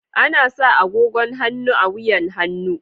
Ana sa agogon hannu a wuyan hannu.